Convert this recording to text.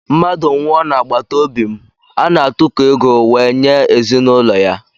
Mmadụ nwụọ na agbataobi mụ ana atụko ego wee nye ezinụlọ ya